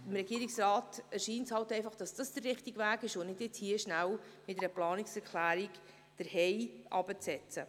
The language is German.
Dem Regierungsrat erscheint dies der richtige Weg und nicht jener, jetzt schnell mit einer Planungserklärung den HEI herabzusetzen.